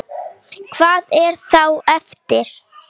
Hvað er þá eftir?